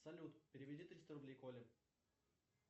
салют переведи триста рублей коле